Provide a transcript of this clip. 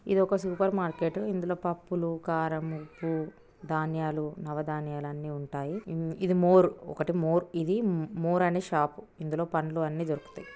ఇదొక supermarket ఇందులో పప్పులు కారం ఉప్పు ధాన్యాలు నవధాన్యాలు అన్ని ఉంటాయి. ఇ--ఇది మోరు ఒకటి మోర్ ఇది మోర్ అనే షాప్ . ఇందులో పండ్లు అన్ని దొరుకుతాయి.